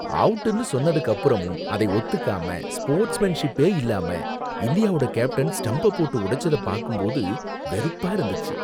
அவுட்டுன்னு சொன்னதுக்கு அப்புறமும் அதை ஒத்துக்காம, ஸ்போர்ட்ஸ் மேன்ஷிப்பே இல்லாம இந்தியாவோட கேப்டன் ஸ்டம்ப போட்டு உடைச்சத பாக்கும்போது வெறுப்பா இருந்துச்சு.